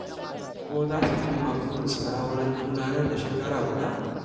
Ko za su cimma burinsu na auren juna nan da shekara guda?